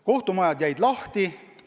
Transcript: Kohtumajad jäid lahti.